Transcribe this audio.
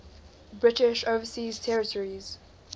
british overseas territories